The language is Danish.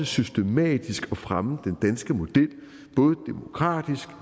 systematisk at fremme den danske model både demokratisk